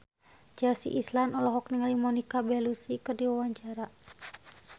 Chelsea Islan olohok ningali Monica Belluci keur diwawancara